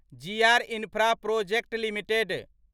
GR Infraprojects limited